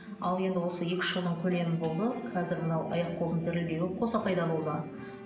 ал енді осы екі үш жылдың көлемі болды қазір мынау аяқ қолының дірілдеуі қоса пайда болған